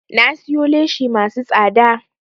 Na siyo leshi masu tsada